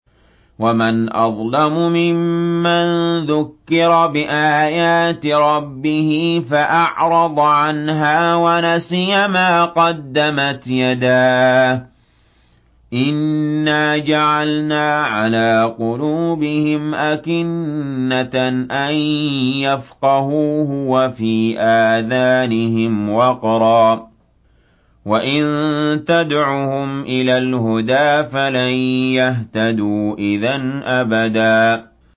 وَمَنْ أَظْلَمُ مِمَّن ذُكِّرَ بِآيَاتِ رَبِّهِ فَأَعْرَضَ عَنْهَا وَنَسِيَ مَا قَدَّمَتْ يَدَاهُ ۚ إِنَّا جَعَلْنَا عَلَىٰ قُلُوبِهِمْ أَكِنَّةً أَن يَفْقَهُوهُ وَفِي آذَانِهِمْ وَقْرًا ۖ وَإِن تَدْعُهُمْ إِلَى الْهُدَىٰ فَلَن يَهْتَدُوا إِذًا أَبَدًا